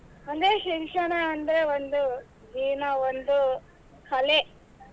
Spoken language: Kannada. ಅಂದ್ರೆ ಶಿಕ್ಷಣ ಅಂದ್ರೆ ಒಂದು ಜೀವನಾ ಒಂದು ಕಲೆ.